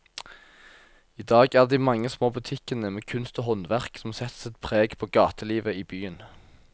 I dag er det de mange små butikkene med kunst og håndverk som setter sitt preg på gatelivet i byen.